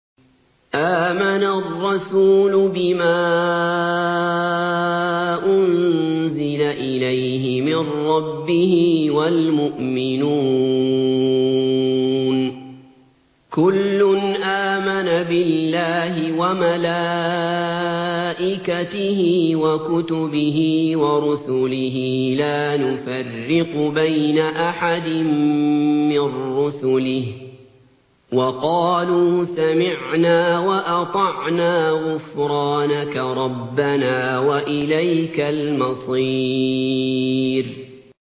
آمَنَ الرَّسُولُ بِمَا أُنزِلَ إِلَيْهِ مِن رَّبِّهِ وَالْمُؤْمِنُونَ ۚ كُلٌّ آمَنَ بِاللَّهِ وَمَلَائِكَتِهِ وَكُتُبِهِ وَرُسُلِهِ لَا نُفَرِّقُ بَيْنَ أَحَدٍ مِّن رُّسُلِهِ ۚ وَقَالُوا سَمِعْنَا وَأَطَعْنَا ۖ غُفْرَانَكَ رَبَّنَا وَإِلَيْكَ الْمَصِيرُ